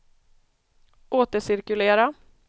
återcirkulera